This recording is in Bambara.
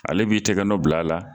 Ale b'i tigɛ bila a la